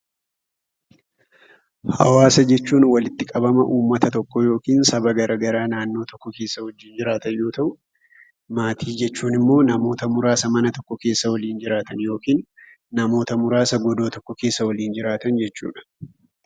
Hawaasa jechuun walitti qabama uummata tokkoo yookiin saba garaa garaa naannoo tokko keessa wajjin jiraatan yoo ta'u, maatii jechuun namoota muraasa mana yookiiin godoo tokko keessa waliin jiraatan jechuudha.